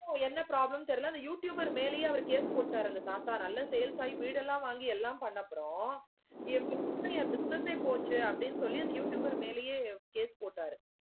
ஓ என்ன problem தெரியல ஆனா youtuber மேலையே அவர் case போட்டாரு அந்த தாத்தா நல்ல sales ஆகி வீடு எலாம் வாங்கி எலாம் பண்ண பிறகு என் business ஏ போச்சி சொல்லி அந்த youtuber மேலையே case போட்டாரு.